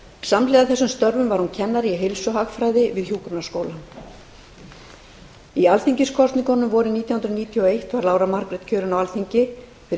samhliða þessum störfum var hún kennari í heilsuhagfræði við hjúkrunarskólann í alþingiskosningunum vorið nítján hundruð níutíu og eitt var lára margrét kjörin á alþingi fyrir